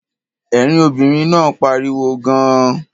Ẹ̀rín obìnrin náà pariwo gan-an.